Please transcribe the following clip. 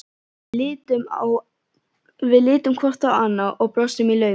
Við litum hvort á annað og brostum í laumi.